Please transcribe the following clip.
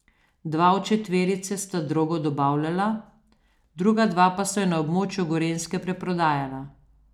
Dva od četverice sta drogo dobavljala, druga dva pa sta jo na območju Gorenjske preprodajala.